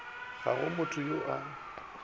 ga go motho yo a